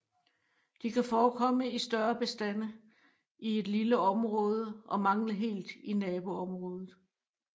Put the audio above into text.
De kan forekomme i større bestande i et lille område og mangle helt i naboområder